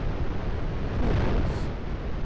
Hovås